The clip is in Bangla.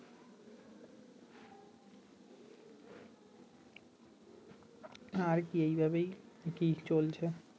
আর কি এইভাবেই কি চলছে